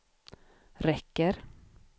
räcker